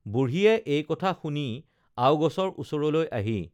বুঢ়ীয়ে এই কথা শুনি আও গছৰ ওচৰলৈ আহি